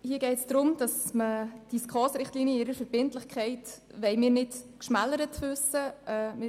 Hier geht es darum, dass wir die SKOS-Richtlinien in ihrer Verbindlichkeit nicht geschmälert wissen wollen.